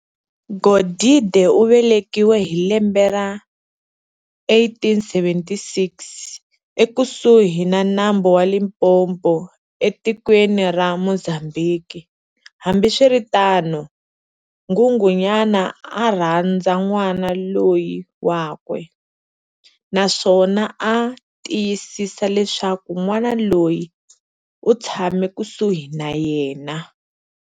Godide uvelekiwe hi lembe ra 1876, ekusuhi na nambu wa Limpopo etikweni ra Mozambhiki. Hambiswiritano, Nghunghunyana a a rhandza n'wana loyi wakwe, naswona a a tiyisisa leswaku n'wana loyi u tshama kusuhi na yena.